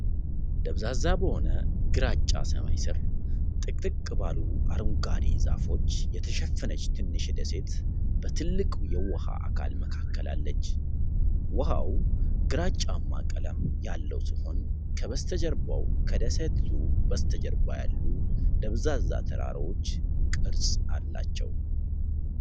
ደብዛዛ በሆነ ግራጫ ሰማይ ስር፣ ጥቅጥቅ ባሉ አረንጓዴ ዛፎች የተሸፈነች ትንሽ ደሴት በትልቅ የውሃ አካል መካከል አለች። ውሃው ግራጫማ ቀለም ያለው ሲሆን፣ ከበስተጀርባው ከደሴቲቱ በስተጀርባ ያሉ ደብዛዛ ተራራዎች ቅርጽ አሉ።